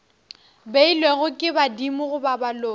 beilwego ke badimo goba baloi